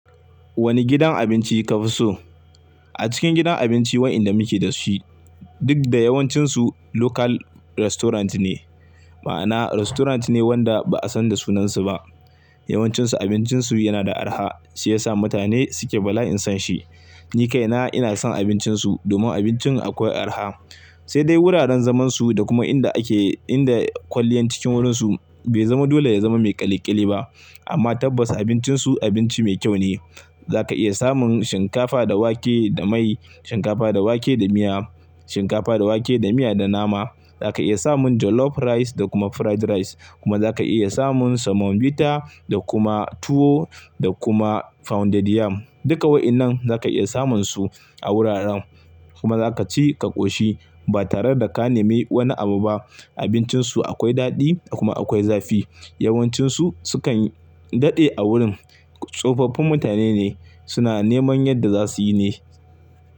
Wane gidan abinci ka fi so? A cikin gidan abinci wa'inda muke da shi, duk da yawancinsu local restaurant ne, ma'ana restaurant ne wanda ba a san da sunansu ba. Yawancinsu abincinsu yana da araha shiyasa mutane suke bala in san shi. Ni kaina ina son abincinsu domin abincin akwai araha. Sai dai wuraren zaman su da kuma inda ake, inda kwalliyan cikin wurinsu bai zama dole ya zama mai ƙyaleƙyale ba. Amma tabbas abincinsu abinci mai kyau ne. Za ka iya samun shinkafa da wake da mai, shinkafa da wake da miya, shinkafa da wake da miya da nama. Za ka iya samun jollof rice da kuma fried rice. Kuma za ka iya samun semovita da kuma tuwo da kuma pounded yam. Duka wa'inan za ka iya samun su a wuraren kuma za ka ci ka koshi ba tare da ka nemi wani abu ba. Abincinsu akwai daɗi da kuma akwai zafi. Yawancinsu sukan daɗe a wurin, tsofaffin mutane ne suna neman yadda za su yi ne.